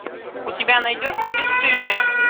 у тебя найдется бесстыжие